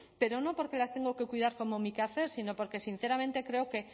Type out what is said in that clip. pero no porque las tengo que cuidar como mi quehacer sino que sinceramente creo que